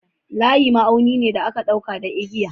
Layi ma'auni ne da aka ɗauka da igiya.